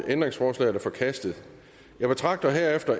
ændringsforslaget er forkastet jeg betragter herefter